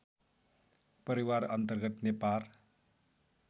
परिवार अन्तर्गत नेपार